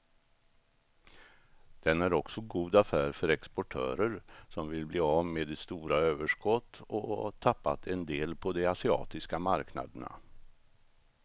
Den är också god affär för exportörer som vill bli av med stora överskott och tappat en del på de asiatiska marknaderna.